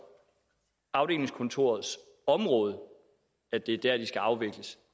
afdelingskontorets område og at det er der de skal afvikles